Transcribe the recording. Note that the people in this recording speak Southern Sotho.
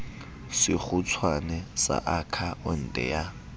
sekgutshwane sa akha onte ya